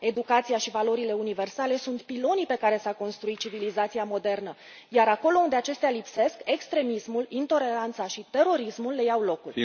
Educația și valorile universale sunt pilonii pe care s a construit civilizația modernă, iar, acolo unde acestea lipsesc, extremismul, intoleranța și terorismul le iau locul.